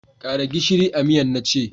Kara gishiri a miyan na ce!